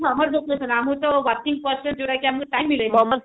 summer vacation ଆମର ତ working ଯୋଉଟା କି ଆମକୁ time ମିଳେନି